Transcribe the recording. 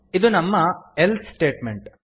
ಇದು ನಮ್ಮ else statement